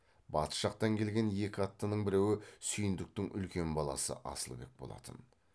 батыс жақтан келген екі аттының біреуі сүйіндіктің үлкен баласы асылбек болатын